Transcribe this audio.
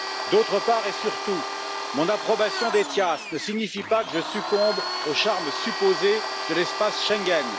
D'autre part, et surtout, mon approbation d'ETIAS ne signifie pas que je succombe au charme supposé de l'espace Schengen.